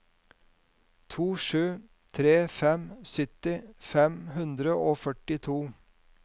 to sju tre fem sytti fem hundre og førtito